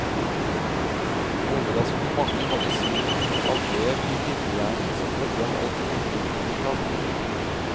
Overraskende mange hadde svinn av vev i lillehjernen som følge av alkoholinntak.